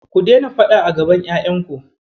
Ku daina faɗa a gaban ƴaƴanku.